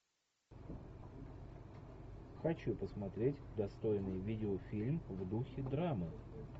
хочу посмотреть достойный видеофильм в духе драмы